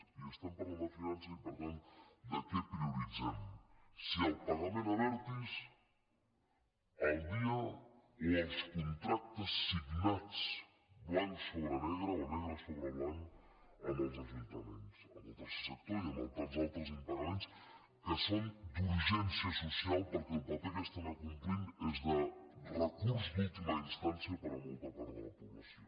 i estem parlant de finances i per tant de què prioritzem si el pagament a abertis al dia o els contractes signats blanc sobre negre o negre sobre blanc amb els ajuntaments amb el tercer sector i amb tants altres impagaments que són d’urgència so·cial perquè el paper que estan acomplint és de recurs d’última instància per a molta part de la població